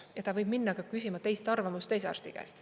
Ja ta võib minna ka küsima teiste arvamust teise arsti käest.